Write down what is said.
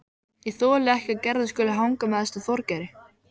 Ég þoli ekki að Gerður skuli hanga með þessum Þorgeiri.